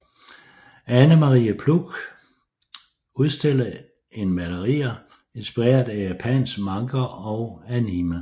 Anne Marie Ploug udstillede en malerier inspireret af japansk manga og anime